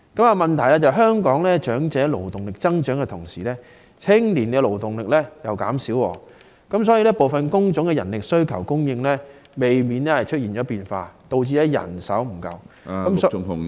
然而，問題是香港在長者勞動力增長的同時，青年勞動力卻減少，所以部分工種的人力需求及供應難免出現變化，導致人手不足......